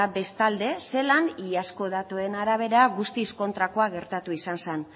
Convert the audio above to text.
bestalde zelan iazko datuen arabera guztiz kontrakoa gertatu izan zela